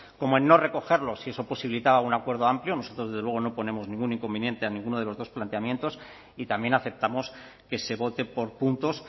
como en no recogerlo si eso posibilitaba un acuerdo amplio nosotros desde luego no ponemos ningún inconveniente a ninguno de los dos planteamientos y también aceptamos que se vote por puntos